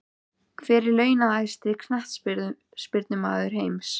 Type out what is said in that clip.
Hver er launahæsti Knattspyrnumaður heims?